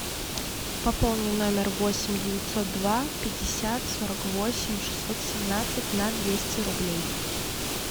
пополни номер восемь девятьсот два пятьдесят сорок восемь шестьсот семнадцать на двести рублей